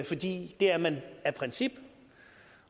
fordi det er man af princip